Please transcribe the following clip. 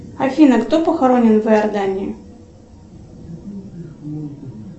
афина кто похоронен в иордании